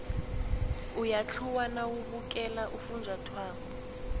uyathluwa nawubukele ufunjathwako